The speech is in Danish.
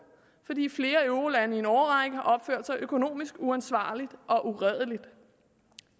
fordi flere eurolande i en årrække har opført sig økonomisk uansvarligt og uredeligt